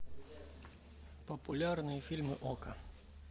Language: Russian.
популярные фильмы окко